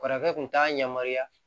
Kɔrɔkɛ kun t'a yamaruya